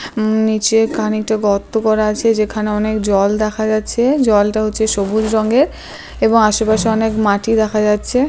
উম নিচে খানিকটা গর্ত করা আছে যেখানে অনেক জল দেখা যাচ্ছে। জলটা হচ্ছে সবুজ রঙের এবং আশেপাশে অনেক মাটি দেখা যাচ্ছে।